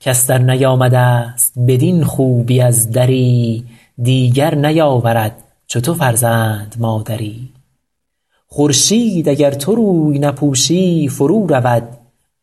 کس درنیامده ست بدین خوبی از دری دیگر نیاورد چو تو فرزند مادری خورشید اگر تو روی نپوشی فرو رود